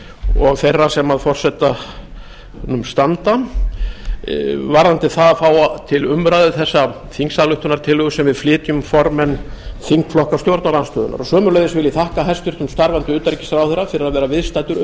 og þeirra sem að forsetanum standa varðandi það að fá þessa þingsályktunartillögu til umræðu sem við flytjum formenn þingflokka stjórnarandstöðunnar sömuleiðis vil ég þakka hæstvirtum starfandi utanríkisráðherra fyrir að vera viðstaddur